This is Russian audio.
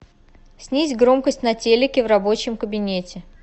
снизь громкость на телике в рабочем кабинете